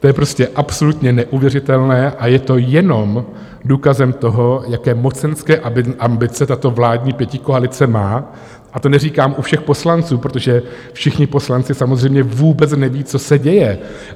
To je prostě absolutně neuvěřitelné a je to jenom důkazem toho, jaké mocenské ambice tato vládní pětikoalice má, a to neříkám u všech poslanců, protože všichni poslanci samozřejmě vůbec nevědí, co se děje.